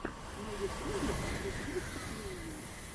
на ютубе вруби выступления